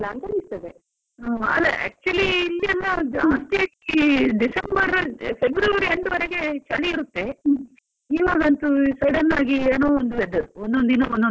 ಅಲ್ಲ actually ಇಲ್ಲಿಯೆಲ್ಲಾ ಜಾಸ್ತಿಯಾಗಿ December, February end ವರೆಗೆ ಚಳಿ ಇರುತ್ತೆ, ಇವಗಂತೂ sudden ಆಗಿ ಏನೋ ಒಂದ್ weather . ಒಂದೊಂದು ದಿನ ಒಂದೊಂದು weather ಆಗ್ತಾ ಇದೆ.